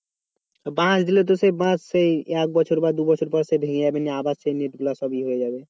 বাঁশ দিলে তো ওই সেই বাঁশ সেই এক বছর বা দু বছর পরে সে ভেঙে যাবে আবার সেই net গুলো সব ইয়ে হয়ে যাবে